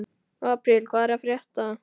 Apríl, hvað er að frétta?